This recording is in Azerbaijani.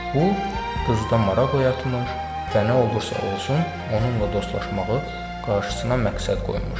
Bu qızda maraq oyatmış və nə olursa olsun, onunla dostlaşmağı qarşısına məqsəd qoymuşdu.